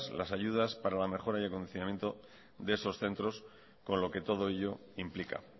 las ayudas para la mejora y acondicionamiento de esos centros con lo que todo ello implica